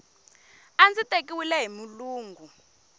a ndzi tekiwile hi mulungu